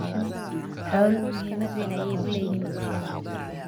Xooluhu muhiimad weyn ayay u leeyihiin bulshada.